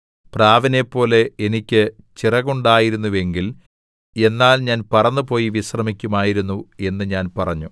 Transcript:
പ്രാവിനെപ്പോലെ എനിക്ക് ചിറകുണ്ടായിരുന്നുവെങ്കിൽ എന്നാൽ ഞാൻ പറന്നുപോയി വിശ്രമിക്കുമായിരുന്നു എന്ന് ഞാൻ പറഞ്ഞു